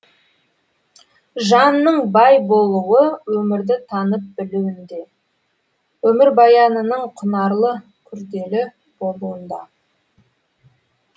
жанның бай болуы өмірді танып білуінде өмірбаянының құнарлы күрделі болуында